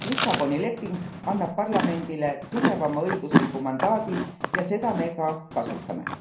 Lissaboni leping annab parlamendile tugevama õigusliku mandaadi ja seda me ka kasutame.